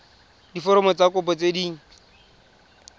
diforomo tsa kopo tse dint